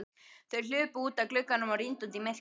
Þau hlupu út að glugganum og rýndu út í myrkrið.